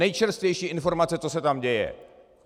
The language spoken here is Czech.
Nejčerstvější informace, co se tam děje.